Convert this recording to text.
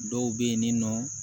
Dɔw bɛ yen ni nɔ